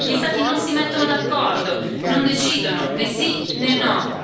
Gli Stati non si mettono d'accordo, non decidono né sì né no.